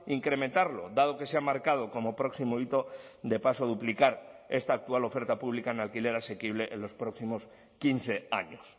incrementarlo dado que se ha marcado como próximo hito de paso duplicar esta actual oferta pública en alquiler asequible en los próximos quince años